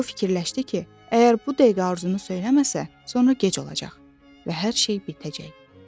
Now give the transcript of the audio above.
Və o fikirləşdi ki, əgər bu dəqiqə arzunu söyləməsə, sonra gec olacaq və hər şey bitəcək.